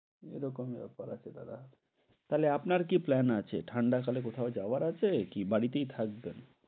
এরকমই ব্যাপার আছে দাদা। তাহলে আপনার কি plan আছে ঠান্ডা কালে কোথাও যাওয়ার আছে? কি বাড়িতেই থাকবেন?